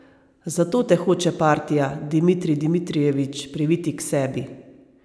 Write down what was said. Zato te hoče partija, Dmitrij Dmitrijevič, priviti k sebi.